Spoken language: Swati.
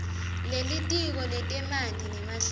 lelitiko letemanti nemahlatsi